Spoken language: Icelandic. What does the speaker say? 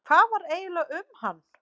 Hvað var eiginlega með hann?